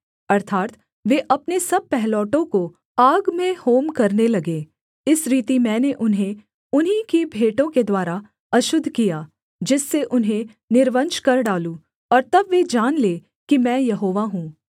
अर्थात् वे अपने सब पहिलौठों को आग में होम करने लगे इस रीति मैंने उन्हें उन्हीं की भेंटों के द्वारा अशुद्ध किया जिससे उन्हें निर्वंश कर डालूँ और तब वे जान लें कि मैं यहोवा हूँ